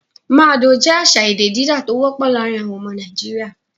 Mad oh' jẹ́ àṣà èdè dídá tó wọ́pọ̀ láàárin àwọn ọmọ Nàìjíríà.